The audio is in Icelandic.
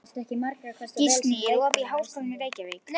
Gíslný, er opið í Háskólanum í Reykjavík?